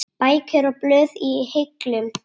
Bækur og blöð í hillum.